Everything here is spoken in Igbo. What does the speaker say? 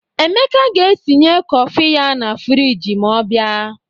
Emeka ga-etinye kọfị ya na friji ma ọ bịa